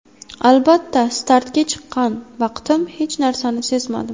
Albatta, startga chiqqan vaqtim hech narsani sezmadim.